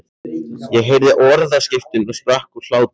Ég heyrði orðaskiptin og sprakk úr hlátri.